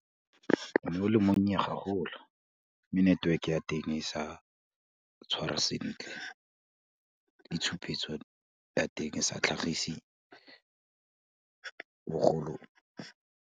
O ne o le monnye gaholo, mme network ya teng e sa tshwara sentle le tshupetso ya teng e sa tlhagise bogolo.